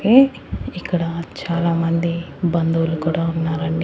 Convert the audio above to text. ఏ ఇక్కడ చాలామంది బంధువులు కూడా ఉన్నారండి.